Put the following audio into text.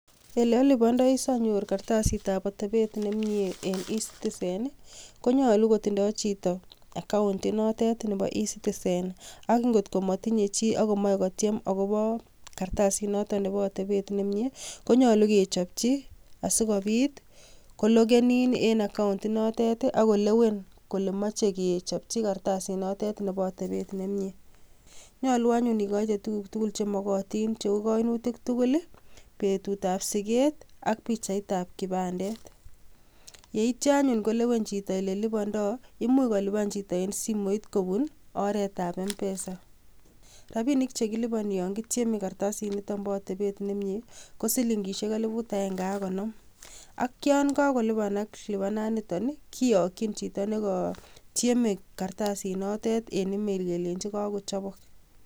Ole olipondoi sonyor kartasitab otepet nemie en ecitizen nii konyolu kotindoi chito account inotet nebo ecitizen akot ko motinyee chi ak komoche kotyem akobo kartasit noton nebo otepen nemie konyolu kochopji asikopit koloken in nii en account inotet akolewen kole moche kechopji kartasit notet nebo otepet nemie. Nyolu anyun ikoite tukuk tukul chemokin cheu koinutik tukuk lii betut ab siget ak pichaitab kipandet yeityo anyun kolewen chito ole lipondo imuch kolipani chito kopun nii oretab MPESA . Rabinik chekiliponinyon kityeme kartasit niton bo otepet nemie kot silingishek elibut agenge ak konom ak yon kakolipanak lipanan niton nii kiyoki chito nekotyeme kartasit notet en email kelenji kokochobok.